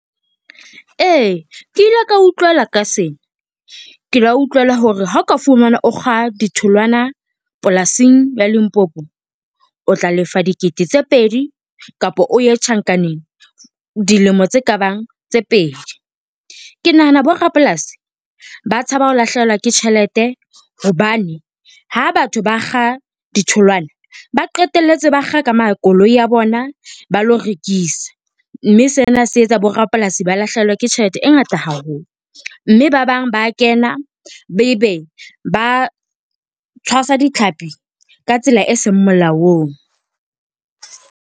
E, ke ile ka utlwela ka sena, ke la utlwela hore ha oka fumanwa o kga ditholwana polasing ya Limpopo, o tla lefa dikete tse pedi kapa o ye tjhankaneng dilemo tse kabang tse pedi. Ke nahana bo rapolasi ba tshaba ho lahlehelwa ke tjhelete hobane ha batho ba kga ditholwana ba qetelletse ba kga ka ma koloi a bona ba lo rekisa, mme sena se etsa bo rapolasi ba lahlehelwe ke tjhelete e ngata haholo, mme ba bang ba kena ebe ba tshwasa ditlhapi ka tsela e seng molaong.